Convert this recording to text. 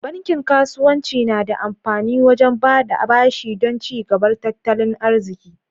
Bankin kasuwanci na da amfani wajen baɗa ɓashi don ci gabar tattalin arziki.